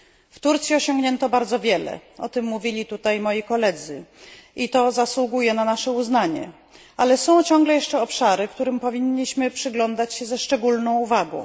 W Turcji osiągnięto bardzo wiele o tym mówili tutaj moi koledzy i to zasługuje na nasze uznanie, ale są ciągle jeszcze obszary, którym powinniśmy przyglądać się ze szczególną uwagą.